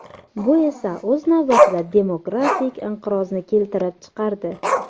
Bu esa o‘z navbatida demografik inqirozni keltirib chiqardi.